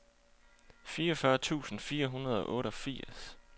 fireogfyrre tusind fire hundrede og otteogfirs